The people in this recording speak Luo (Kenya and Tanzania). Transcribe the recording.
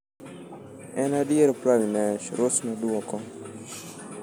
"en adier Pragnesh," Ross noduoko.